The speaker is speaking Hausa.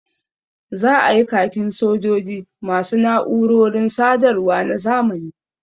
Za a yi khakin sojoji ma su na’urorin sadarwa na zamani